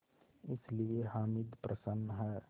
इसलिए हामिद प्रसन्न है